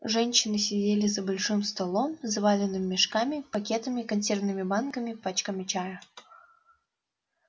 женщины сидели за большим столом заваленным мешками пакетами консервными банками пачками чая